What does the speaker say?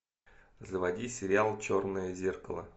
заводи сериал черное зеркало